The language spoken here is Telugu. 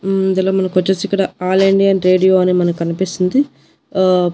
ఇందులో మనకొచ్చేసి ఇక్కడ ఆల్ ఇండియన్ రేడియో అని మనకనిపిస్తుంది ఆ--